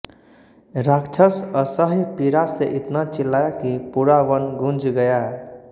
राक्षस असह्य पीड़ा से इतना चिल्लाया कि पूरा वन गूंज गया